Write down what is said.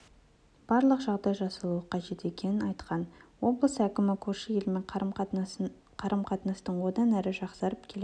барлық жағдай жасалуы қажет екенін айтқан облыс әкімі көрші елмен қарым-қатынастың одан әрі жақсарып келе